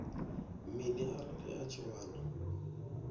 mini arali a tshi wana